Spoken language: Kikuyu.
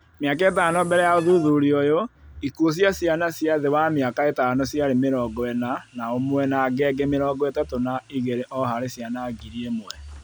Mĩaka ĩtano mbele ya ũthuthuria ũyũ, ikuũ cia ciana cia thĩ wa mĩaka ĩtano ciarĩ mĩrongo ĩna na ũmwe na ngenge mĩrongo ĩtatũ na igĩrĩ ooharĩ ciana ngiri ĩmwe